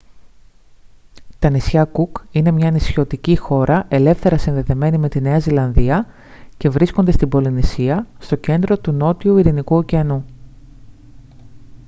τα νησιά κουκ είναι μια νησιωτική χώρα ελεύθερα συνδεδεμένη με τη νέα ζηλανδία και βρίσκονται στην πολυνησία στο κέντρο του νότιου ειρηνικού ωκεανού